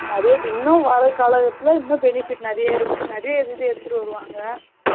நெறையா இன்னும் வர கால கட்டத்துல இன்னும் benefits நெறைய இது எடுத்துட்டு வருவாங்க